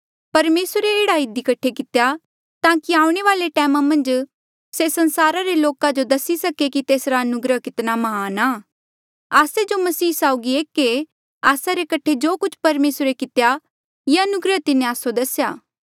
परमेसरे एह्ड़ा इधी कठे कितेया ताकि आऊणें वाले टैमा मन्झ से संसारा रे लोका जो दसी सके कि तेसरा अनुग्रह कितना महान आ आस्से जो मसीह यीसू साउगी एक ऐें आस्सा रे कठे जो कुछ परमेसरे कितेया ये अनुग्रह तिन्हें आस्सो दसेया